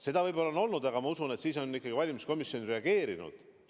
Seda võib-olla on olnud, aga ma usun, et siis on ikkagi valimiskomisjon reageerinud.